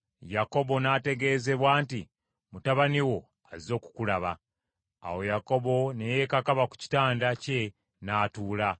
Yakobo n’ategeezebwa nti, “Mutabani wo azze okukulaba.” Awo Yakobo ne yeekakaba ku kitanda kye n’atuula.